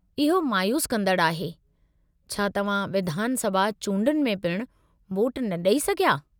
इहो मायूसु कंदड़ु आहे। छा तव्हां विधान सभा चूंडनि में पिणु वोटु न ॾेई सघिया?